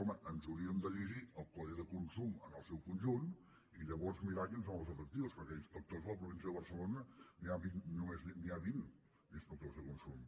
home ens hauríem de llegir el codi de consum en el seu conjunt i llavors mirar quins són els efectius perquè d’inspectors a la província de barcelona només n’hi ha vint d’inspectors de consum